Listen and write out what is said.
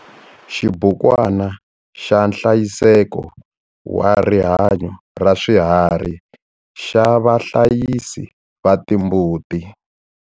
Xibukwana xa nhlayiseko wa rihanyo ra swiharhi xa vahlayisi va timbuti.